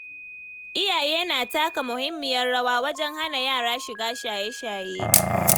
Iyaye na taka muhimmiyar rawa wajen hana yara shiga shaye-shaye.